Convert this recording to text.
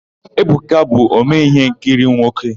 Ebuka bụ omee íhénkiri nwoke.